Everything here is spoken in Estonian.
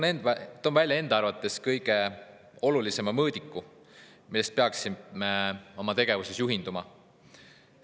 Toon välja enda arvates kõige olulisema mõõdiku, millest peaksime oma tegevuses juhinduma.